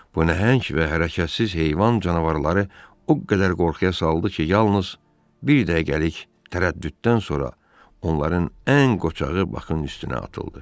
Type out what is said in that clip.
Bu nəhəng və hərəkətsiz heyvan canavarları o qədər qorxuya saldı ki, yalnız bir dəqiqəlik tərəddüddən sonra onların ən qoçağı Bakın üstünə atıldı.